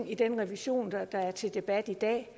i den revision der er til debat i dag